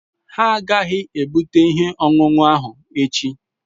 Ha agaghị ebute ihe ọṅụṅụ ahụ echi